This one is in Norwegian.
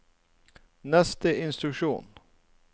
neste instruksjon